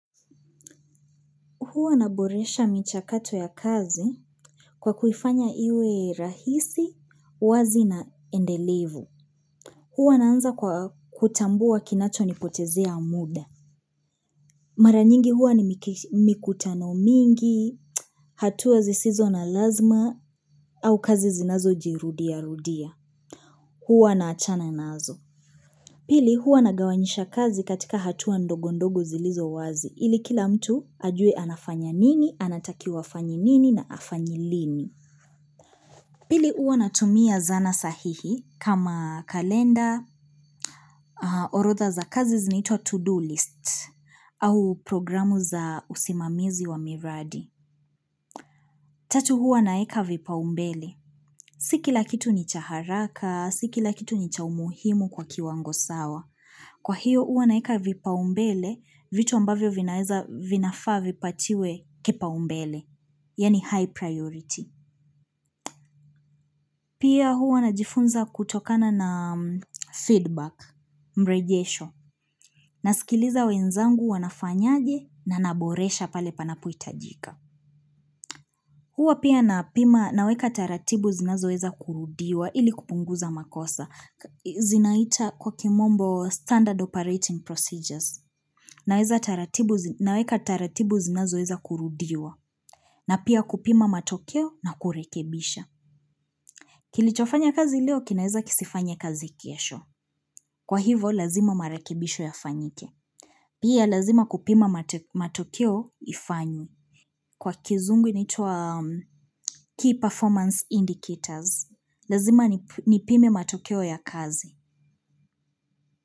Huwa naboresha michakato ya kazi kwa kuifanya iwe rahisi, wazi na endelevu. Huwa naanza kwa kutambua kinacho nipotezea muda. Maranyingi huwa ni mikutano mingi, hatuwa zisizo na lazima, au kazi zinazo jirudia rudia. Huwa naachana nazo. Pili huwa nagawanyisha kazi katika hatua ndogo ndogo zilizo wazi. Ili kila mtu ajue anafanya nini, anatakiwa afanye nini na afanye lini. Pili huwa natumia zana sahihi kama kalenda, orotha za kazi zinaitwa to-do list, au programu za usimamizi wa miradi. Tatu uwa naeka vipaumbele. Si kila kitu ni cha haraka, si kila kitu ni cha umuhimu kwa kiwango sawa. Kwa hiyo huwa naeka vipaumbele, vitu ambavyo vinafaa vipatiwe kipaumbele. Yani high priority. Pia huwa najifunza kutokana na feedback, mrejesho. Nasikiliza wenzangu wanafanyaje na naboresha pale panapohitajika. Huwa pia napima naweka taratibu zinazoeza kurudiwa ili kupunguza makosa. Zinaita kwa kimombo standard operating procedures. Naweka taratibu zinazo eza kurudiwa. Na pia kupima matokeo na kurekebisha. Kilichofanya kazi leo kinaeza kisifanye kazi kiesho. Kwa hivo lazima marakebisho yafanyike. Pia lazima kupima matokeo ifanywe Kwa kizungu inaitwa key performance indicators. Lazima nipime matokeo ya kazi.